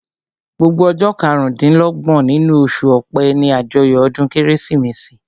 Gbogbo ọjọ́ karùn-dín-lọ́gbọ̀n nínú oṣù ọpẹ́ ní àjọyọ̀ ọdún kérésìmesì